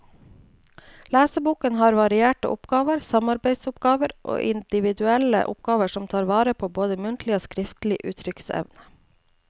Leseboken har varierte oppgaver, samarbeidsoppgaver og individuelle oppgaver som tar vare på både muntlig og skriftlig uttrykksevne.